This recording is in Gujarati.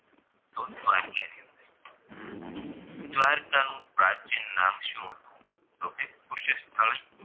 દ્વારકાનું પ્રાચીન નામ શું હતું તો કે કુશહસ્થલી